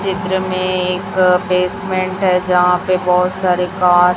चित्र में एक बेसमेंट हैं जहां पे बहुत सारे कार --